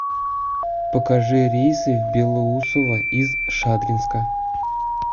покажи рейсы в белоусово из шадринска